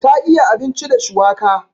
Ta iya abinci da shuwaka.